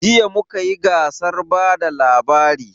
Jiya mu kayi gasar bada labari